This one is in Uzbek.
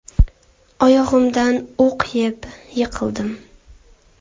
Oyog‘imdan o‘q yeb, yiqildim.